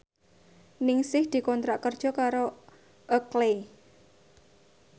Ningsih dikontrak kerja karo Oakley